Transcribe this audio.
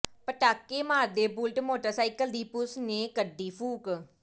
ਪਟਾਕੇ ਮਾਰਦੇ Bullet motorcycle ਦੀ ਪੁਲਸ ਨੇ ਕੱਢੀ ਫੂਕ